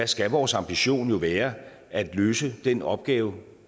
skal vores ambition jo være at løse den opgave